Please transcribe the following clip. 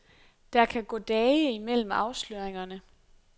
Der kan gå dage imellem afsløringerne.